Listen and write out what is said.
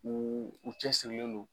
Uu u cɛsirilen don